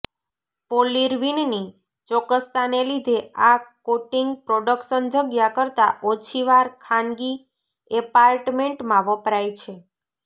પોલિર્વિનની ચોક્કસતાને લીધે આ કોટિંગ પ્રોડક્શન જગ્યા કરતાં ઓછી વાર ખાનગી એપાર્ટમેન્ટમાં વપરાય છે